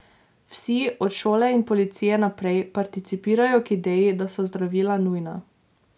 Vsi, od šole in policije naprej, participirajo k ideji, da so zdravila nujna.